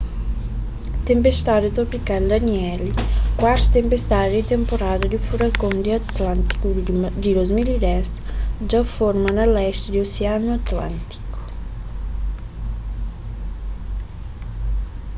tenpestadi tropikal danielle kuartu tenpestadi di tenporada di furakon di atlántiku di 2010 dja forma na lesti di osianu atlántiku